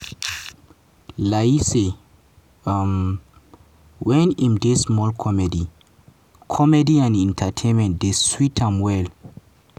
layi say wen im dey small comedy comedy and entertainment dey sweet am well